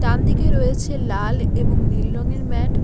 ডানদিকে রয়েছে লাল এবং নীল রঙের ম্যাট ।